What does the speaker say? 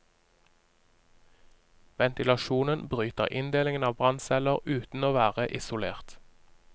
Ventilasjonen bryter inndelingen av brannceller uten å være isolert.